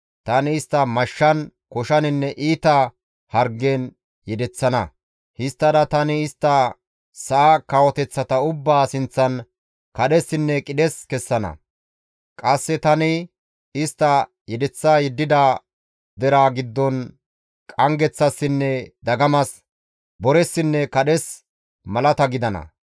Tani istta mashshan, koshaninne iita hargen yedeththana; histtada tani istta sa7a kawoteththata ubbaa sinththan kadhessinne qidhes kessana; qasse tani istta yedeththa yeddida deraa giddon qanggeththassinne dagamas, boressinne kadhes malata gidana.